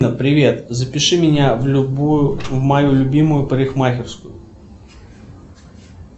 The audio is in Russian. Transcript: привет запиши меня в любую в мою любимую парикмахерскую